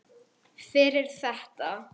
Fyrir þetta.